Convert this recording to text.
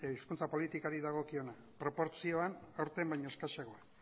hizkuntza politikari dagokiona proportzioan aurten baino eskasagoa